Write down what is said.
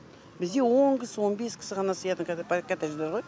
бізде он кісі он бес кісі ғана сыятын коттедждер ғой